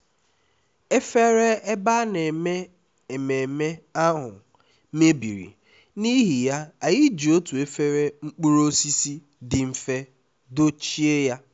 efere ebe a na-eme ememme ahụ mebiri n’ihi ya anyị ji otu efere mkpụrụ osisi dị mfe dochie ya